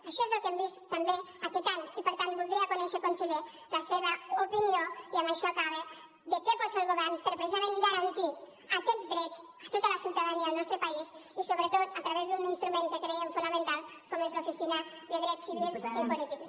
això és el que hem vist també aquest any i per tant voldria conèixer conseller la seva opinió i amb això acabo de què pot fer el govern per precisament garantir aquests drets a tota la ciutadania del nostre país i sobretot a través d’un instrument que creiem fonamental com és l’oficina de drets civils i polítics